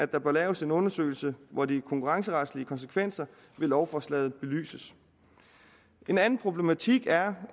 der bør laves en undersøgelse hvor de konkurrenceretlige konsekvenser med lovforslaget belyses en anden problematik er